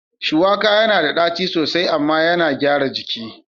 Shuwaka yana da ɗaci sosai amma yana gyara jiki.